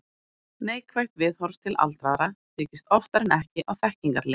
Neikvætt viðhorf til aldraðra byggist oftar en ekki á þekkingarleysi.